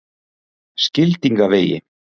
Skildingavegi